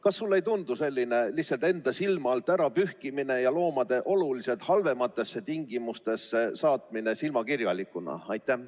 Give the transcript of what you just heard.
Kas sulle ei tundu selline lihtsalt enda silma alt ära pühkimine ja loomade oluliselt halvematesse tingimustesse saatmine silmakirjalikuna?